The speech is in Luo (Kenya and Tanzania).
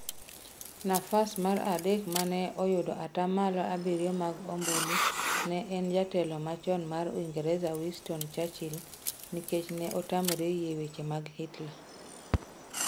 Nafas mar adek mane oyudo atamalo abiriyio mag ombulu ne en jatelo machon mar Uingereza Winston Churchil nikech ne otamore yie weche mag Hitler.